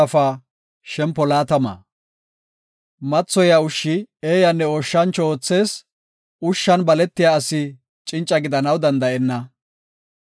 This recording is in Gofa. Mathoya ushshi eeyanne ooshancho oothees; ushshan baletiya asi cinca gidanaw danda7enna.